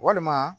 Walima